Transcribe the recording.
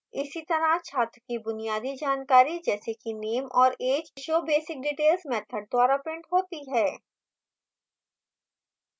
इसीतरह छात्र की बुनियादी जानकारी जैसे कि name और age showbasicdetails मैथड द्वारा printed होती हैं